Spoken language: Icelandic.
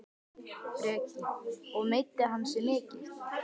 Breki: Og meiddi hann sig mikið?